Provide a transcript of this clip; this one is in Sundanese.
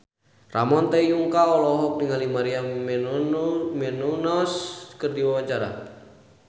Ramon T. Yungka olohok ningali Maria Menounos keur diwawancara